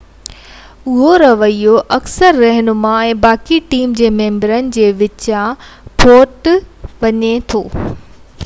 اهو رويو اڪثر رهنما ۽ باقي ٽيم جي ممبرن جي وچان ڦوٽ وجهي ٿو